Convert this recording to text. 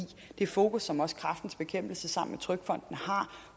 det fokus som også kræftens bekæmpelse sammen med trygfonden har